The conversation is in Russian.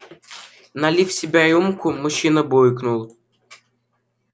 налив себе рюмку мужчина буркнул